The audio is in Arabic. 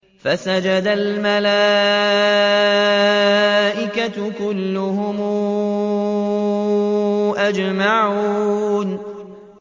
فَسَجَدَ الْمَلَائِكَةُ كُلُّهُمْ أَجْمَعُونَ